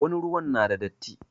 Wasu ruwan na da datti.